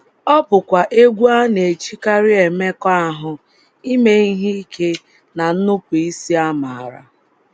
Ọ bụkwa egwú a na - ejikarị emekọahụ, ime ihe ike, na nnupụisi amara.